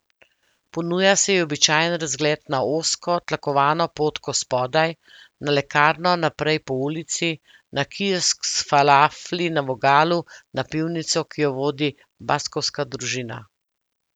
Ponuja se ji običajen razgled na ozko, tlakovano potko spodaj, na lekarno naprej po ulici, na kiosk s falafli na vogalu, na pivnico, ki jo vodi baskovska družina.